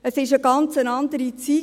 Es war eine ganz andere Zeit.